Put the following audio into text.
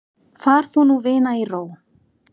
Far þú nú vina í ró.